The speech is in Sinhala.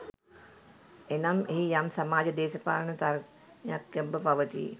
එනම් එහි යම් සමාජ දේශපාලන තර්කනයක් ගැබ්ව පවති